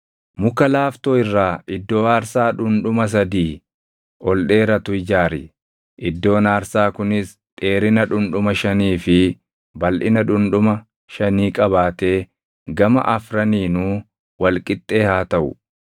“Muka laaftoo irraa iddoo aarsaa dhundhuma sadii ol dheeratu ijaari; iddoon aarsaa kunis dheerina dhundhuma shanii fi balʼina dhundhuma shanii qabaatee gama afraniinuu wal qixxee haa taʼu.